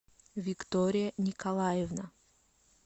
виктория николаевна